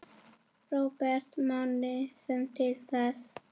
Róbert Máni sér til þess.